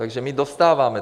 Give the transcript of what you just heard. Takže my dostáváme.